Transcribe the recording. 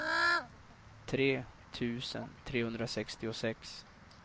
tre tusen trehundrasextiosex